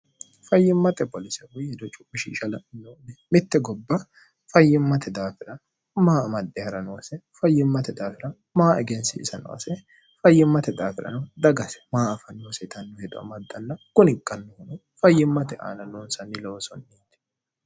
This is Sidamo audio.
fayyimmate polisehu hido cupishishalanne mitte gobba fayyimmate daafira maa madde ha'ra noase fayyimmate daafira maa egensiisanoase fayyimmate daafirano dagase maa afanni hoseetannu hedoa maddanna guni qannohuno fayyimmate aana noonsanni lowosonniiti